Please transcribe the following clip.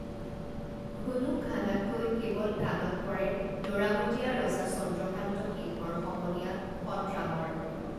ঘুনুক ঘানাককৈ কেৱল কাণত পৰে লৰামতীয়া ৰজা চন্দ্ৰকান্ত সিংহৰ সমনীয়া সৎৰামৰ